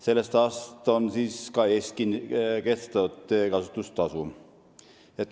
Sellest aastast on ka Eestis kehtestatud teekasutustasu.